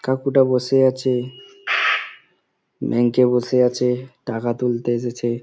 কাকুটা বসে আছে । ব্যাংক -এ বসে আছে। টাকা তুলতে এসেছে।